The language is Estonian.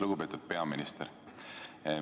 Lugupeetud peaminister!